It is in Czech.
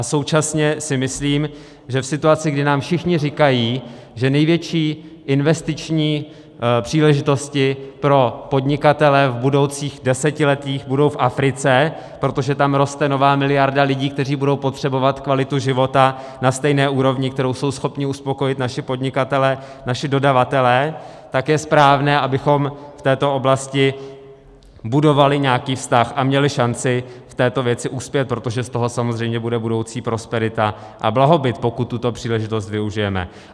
A současně si myslím, že v situaci, kdy nám všichni říkají, že největší investiční příležitosti pro podnikatele v budoucích desetiletích budou v Africe, protože tam roste nová miliarda lidí, kteří budou potřebovat kvalitu života na stejné úrovni, kterou jsou schopni uspokojit naši podnikatelé, naši dodavatelé, tak je správné, abychom v této oblasti budovali nějaký vztah a měli šanci v této věci uspět, protože z toho samozřejmě bude budoucí prosperita a blahobyt, pokud tuto příležitost využijeme.